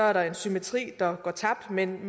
er der en symmetri der går tabt men